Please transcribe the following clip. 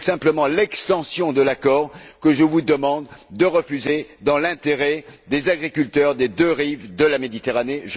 C'est donc simplement l'extension de l'accord que je vous demande de refuser dans l'intérêt des agriculteurs des deux rives de la Méditerranée.